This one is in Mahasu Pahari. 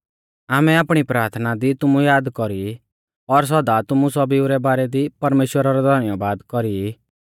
आमै आपणी प्राथना दी तुमु याद कौरी और सौदा तुमु सौभीऊ रै बारै दी परमेश्‍वरा रौ धन्यबाद कौरी ई